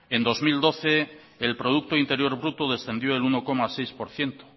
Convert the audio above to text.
el producto interior bruto descendió en uno coma seis por ciento